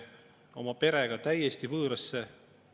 Mulle helistas hulk inimesi, kes küsisid: "Rene, mis teil toimub seal?